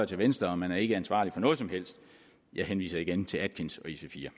til venstre og man er ikke ansvarlig for noget som helst jeg henviser igen til atkins og ic4